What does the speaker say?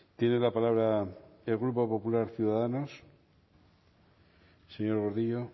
tiene la palabra el grupo popular ciudadanos señor gordillo